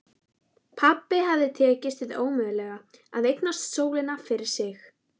Pabba hafði tekist hið ómögulega: að eignast sólina fyrir sig.